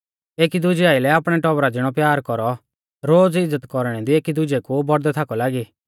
एकी दुजै आइलै आपणै टौबरा ज़िणौ प्यारा कौरौ रोज़ इज़्ज़त कौरणै दी एकी दुजै कु बौड़दै थाकौ लागी